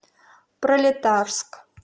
пролетарск